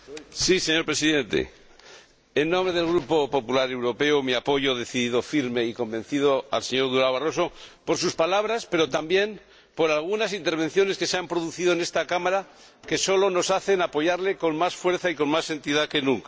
Señor Presidente, en nombre del Grupo Popular Europeo, expreso mi apoyo decidido, firme y convencido al señor Barroso por sus palabras, pero también por algunas intervenciones que se han producido en esta Cámara que nos hacen apoyarle con más fuerza y con más entidad que nunca.